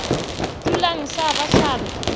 dulang sa ba sa re